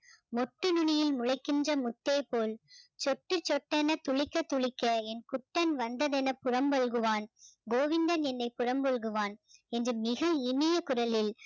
மொட்டு நுனியில் முளைக்கின்ற முத்தை போல் சொத்து சொத்தென துளிக்க துளிக்க என் குத்தன் வந்ததென புறம்பழுகுவான் கோவிந்தன் என்னை புறம்பழுகுவான் என்று மிக இனிய குரலில்